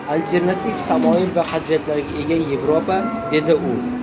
Alternativ tamoyil va qadriyatlarga ega Yevropa”, dedi u.